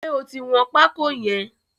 Ṣé o ti wọn pákó yẹn?